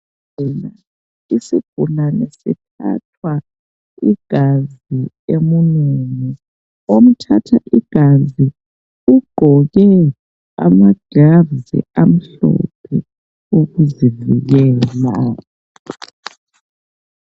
Isigulane sithathwa igazi emunweni. Omthatha igazi ugqoke amaglavu amhlophe, ukuzivikela,